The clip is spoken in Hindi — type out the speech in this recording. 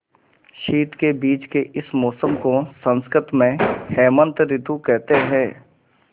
शीत के बीच के इस मौसम को संस्कृत में हेमंत ॠतु कहते हैं